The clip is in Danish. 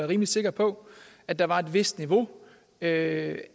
rimelig sikker på at der var et vist niveau af